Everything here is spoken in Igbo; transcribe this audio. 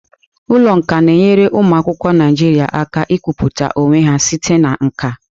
Ụlọ nka na-enyere ụmụ akwụkwọ Naijiria aka ikwupụta onwe ha site na nka.